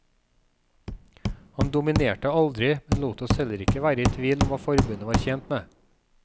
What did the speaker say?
Han dominerte aldri, men lot oss heller ikke være i tvil om hva forbundet var tjent med.